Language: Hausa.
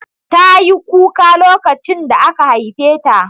Tayi kuka lokacin da aka haife ta